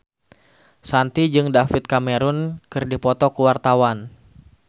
Shanti jeung David Cameron keur dipoto ku wartawan